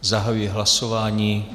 Zahajuji hlasování.